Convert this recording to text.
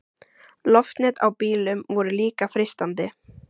Loftnet á bílum voru líka freistandi.